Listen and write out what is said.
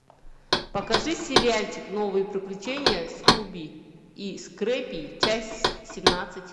покажи сериальчик новые приключения скуби и скрэппи часть семнадцать